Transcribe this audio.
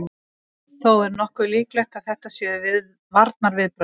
Þó er nokkuð líklegt að þetta séu varnarviðbrögð.